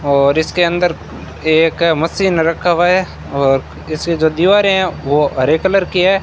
और इसके अंदर एक मशीन रखा हुआ है और इसके जो दीवारें है वो हरे कलर की है।